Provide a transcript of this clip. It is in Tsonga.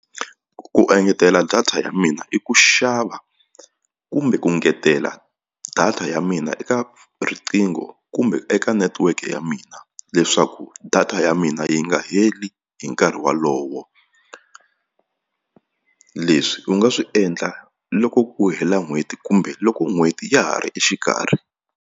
Ku engetela data ya mina i ku xava kumbe ku ngetela data ya mina eka riqingho kumbe eka network ya mina leswaku data ya mina yi nga heli hi nkarhi walowo leswi u nga swi endla loko ku hela n'hweti kumbe loko n'hweti ya ha ri exikarhi.